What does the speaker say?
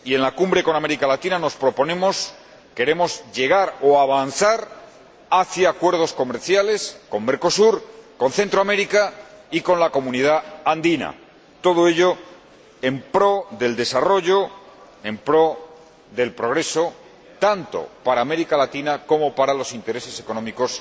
Y en la Cumbre con América Latina queremos llegar o avanzar hacia acuerdos comerciales con Mercosur, con Centroamérica y con la Comunidad Andina, todo ello en pro del desarrollo, en pro del progreso, tanto para América Latina como para los intereses económicos